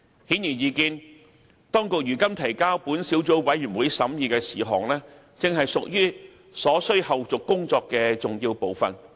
顯而易見，當局如今提交本小組委員會審議的事項，正屬於所需後續工作的重要部分。